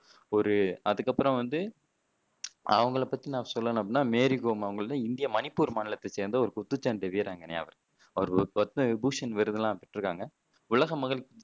ஒரு அதுக்கு அப்பறம் வந்து அவங்களை பத்தி நான் சொல்லணும் அப்படின்னா மேரி கோம் அவங்க இந்திய மணிப்பூர் மாநிலத்தை சேர்ந்த ஒரு குத்துச்சண்டை வீராங்கனை அவர். அவர் பத்மவிபூஷன் விருதெல்லாம் பெற்றுருக்காங்க உலக மகளிர்